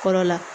Kɔrɔ la